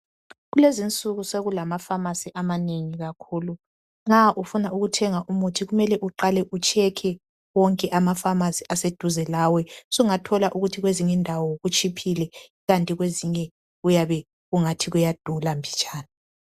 Kulezinsuku sokulama pharmacy amanengi kakhulu nxa ufuna ukuthenga umuthi kumele uqale ukhangele wonke ama pharmacy aseduze lawe sungathola ukuthi kwezinye indawo kutshiphile, kwezinye kuyabe kungathi kuyadula mbijana